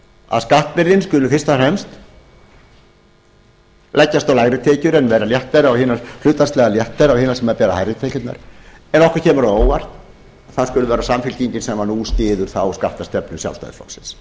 að skattbyrðin skuli fyrst og fremst leggjast á lægri tekjur en vera hlutfallslega léttari á hina sem bera hærri tekjurnar en okkur kemur á óvart að það skuli vera samfylkingin sem nú styður þá skattastefnu sjálfstæðisflokksins